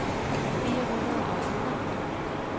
fire hundrede og elleve